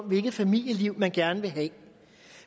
hvilket familieliv man gerne vil have